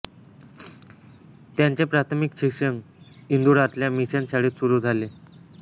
त्यांचे प्राथमिक शिक्षण इंदुरातल्या मिशन शाळेत सुरू झाले